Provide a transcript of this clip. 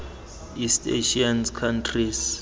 east asian countries